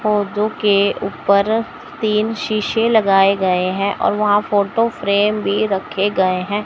पौधों के ऊपर तीन शीशे लगाए गए हैं और वहां फोटो फ्रेम भी रखे गए हैं।